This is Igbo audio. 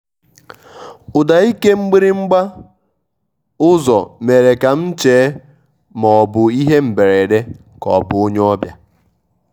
ụ́dá íké mgbirímgbá ụ́zọ́ mèré ká m chéé má ọ́ bụ̀ íhé mbérédé ká ọ́ bụ̀ ónyé ọ́bịà.